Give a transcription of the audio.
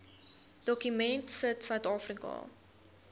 dokument sit suidafrika